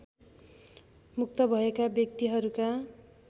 मुक्त भएका व्यक्तिहरूका